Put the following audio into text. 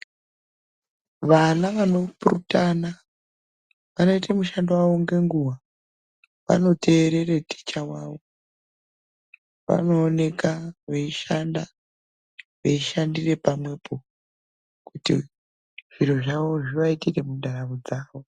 Vana vanopurutana vanoite mushando wavo ngenguva, vanoterera mudzidzisi wavo vanooneka veishanda, veishandira pamwepo kuti zviro zvavo zvivaitire mundaramo dzavo.